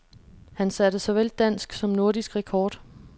Han satte såvel dansk som nordisk rekord.